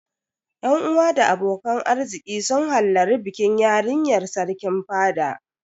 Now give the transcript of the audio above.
Yan uwa da abokan arziki sun hallari bikin yarinyar Sarkin fada.